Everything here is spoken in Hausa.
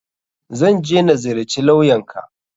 Zan je na ziyarci lawyan ka.